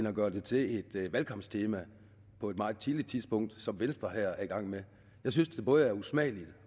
at gøre det til et valgkampstema på et meget tidligt tidspunkt som venstre her er i gang med jeg synes det både er usmageligt